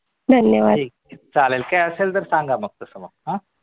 काय असेल तर सांगा मग तसं मग हा